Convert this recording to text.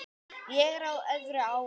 Ég er á öðru ári.